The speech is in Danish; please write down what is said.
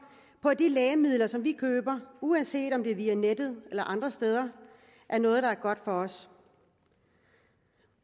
på at de lægemidler som vi køber uanset om det er via nettet eller andre steder er noget der er godt for os